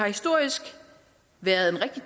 historisk været en rigtig